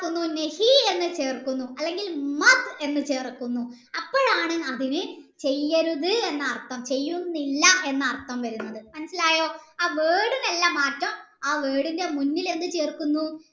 എന്താകുന്നു എന്ന് ചേർക്കുന്നു അല്ലെങ്കിൽ എന്ന് ചേർക്കുന്നു അപ്പോഴാണ് അതിന് ചെയ്യരുത് എന്ന അർത്ഥം ചെയ്യുന്നില്ല എന്ന അർത്ഥം വരുന്നത് മനസ്സിലായോ ആ word അല്ല മാറ്റം ആ word ഇൻ്റെ മുന്നിൽ എന്ത് ചേർക്കുന്നു